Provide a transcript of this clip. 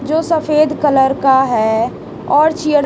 जो सफेद कलर का है और चीयड़--